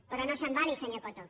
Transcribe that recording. però no s’embali senyor coto